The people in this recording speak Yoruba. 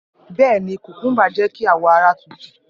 Bẹẹni, kukumba jẹ ki awọ ara tutu.